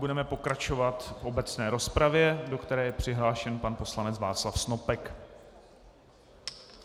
Budeme pokračovat v obecné rozpravě, do které je přihlášen pan poslanec Václav Snopek.